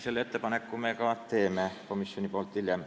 Sellise otsuse komisjon ka tegi, aga sellest hiljem.